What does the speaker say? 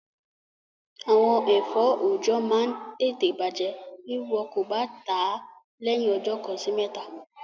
Àwọn ẹ̀fọ́ oọ̀jọ́ máa n tẹ̀tẹ̀ bàjẹ́ bí wọn kò bá tàá lẹ́yìn ọjọ́ kan sí mẹ́ta